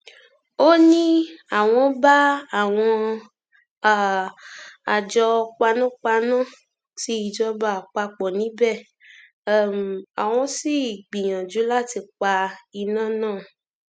ó ní àwọn bá àwọn um àjọ panápaná tí ìjọba àpapọ níbẹ um àwọn sì gbìyànjú láti pa iná náà